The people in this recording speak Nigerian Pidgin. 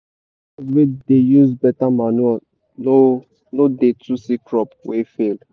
farmers wey dey use beta manure no no dey too see crop wey fail.